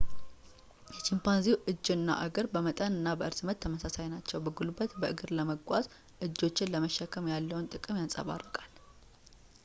የቺምፓንዚው እጅ እና እግር በመጠን እና በእርዝመት ተመሳሳይ ናቸው ፣ በጉልበት በእግር ለመጓዝ እጆችን ለመሸከም ያለውን ጥቅም ያንፀባርቃል